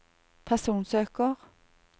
personsøker